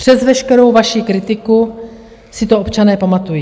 Přes veškerou vaši kritiku si to občané pamatují.